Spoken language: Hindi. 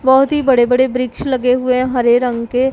बहोत ही बड़े-बड़े वृक्ष लगे हुए हरे रंग के।